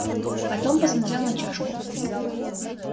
потом посмотрел на чашку